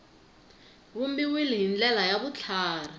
vumbiwile hi ndlela ya vutlhari